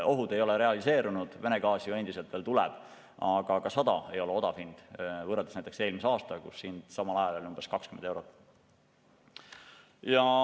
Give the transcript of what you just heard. Ohud ei ole realiseerunud, Vene gaasi ju endiselt veel tuleb, aga ka 100 eurot ei ole odav hind võrreldes näiteks eelmise aastaga, kus samal ajal oli hind umbes 20 eurot.